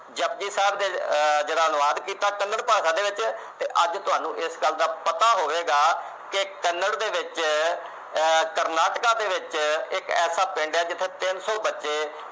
ਜਪੁਜੀ ਸਾਹਿਬ ਦਾ ਆਹ ਅਨੁਵਾਦ ਕੀਤਾ ਕੰਨੜ ਭਾਸ਼ਾ ਦੇ ਵਿੱਚ ਤੇ ਅੱਜ ਤੁਹਾਨੂੰ ਇਸ ਗੱਲ ਦਾ ਪਤਾ ਹੋਵੇਗਾ ਕਿ ਕੰਨੜ ਦੇ ਵਿਚ ਅਹ ਕਰਨਾਟਕਾ ਦੇ ਵਿਚ ਇਕ ਐਸਾ ਪਿੰਡ ਐ ਜਿਥੇ ਤਿੰਨ ਸੌ ਬੱਚੇ